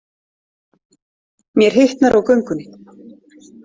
Mér hitnar á göngunni.